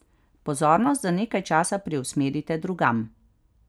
Pozornost za nekaj časa preusmerite drugam.